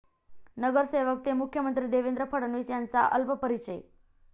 नगरसेवक ते मुख्यमंत्री...देवेंद्र फडणवीस यांचा अल्पपरिचय